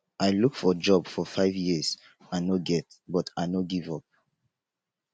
i look for job for five years i no get but i no give up